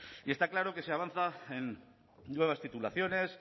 y está claro que se avanza en nuevas titulaciones